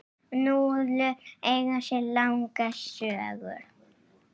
Núðlur eiga sér langa sögu.